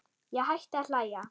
Ég hætti að hlæja.